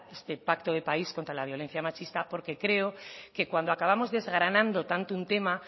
este pacto de país contra la violencia machista porque creo que cuando acabamos desgranando tanto un tema